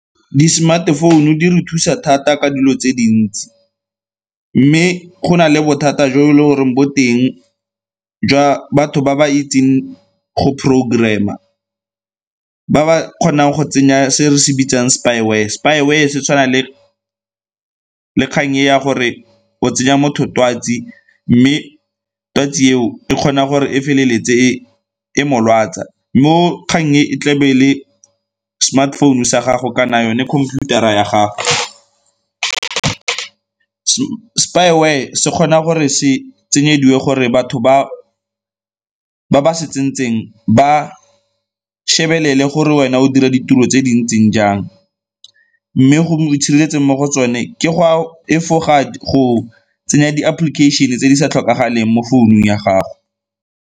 Di-smart-e phone-u di re thusa thata ka dilo tse dintsi, mme go na le bothata jo e leng goreng bo teng jwa batho ba ba itseng go programm-a ba ba kgonang go tsenya se re se bitsang spyware. Spyware se tshwana le kgang e ya gore o tsenya motho twatsi mme twatsi eo e kgona gore e feleletse e e mo lwatsa. Mo kgang e e tlebe le smartphone-u sa gago kana yone khomphuthara ya gago, spyware se kgona gore se tsenyediwe gore batho ba ba se tsentseng ba shebelele gore wena o dira ditiro tse di ntseng jang mme go itshireletseng mo go tsone ke go efoga go tsenya di-application-e tse di sa tlhokagaleng mo founung ya gago.